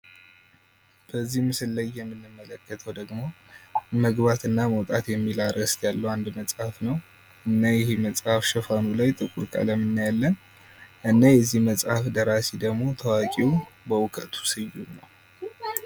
በዚህ ምስል ላይ የምንመለከተው ደግሞ መግባትና መውጣት የሚል አርዕስት ያለው አንድ መጽሐፍ ነው። እና ይሄ መጽሐፍ ሽፋኑ ላይ ጥቁር ቀለም እናያለን። እና የዚህ መጽሐፍ ደራሲ ደግሞ ታዋቂው በእውቀቱ ስዩም ነው።